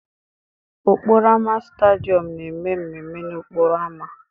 Okporo ámá Stadịom na-eme mmemme n'okporo ámá.